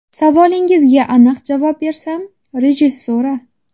Savolingizga aniq javob bersam, rejissura.